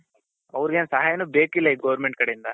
ಆವೃಗೆನ್ ಸಹಾಯಾನು ಬೇಕಿಲ್ಲ ಈ government ಕಡೆಯಿಂದ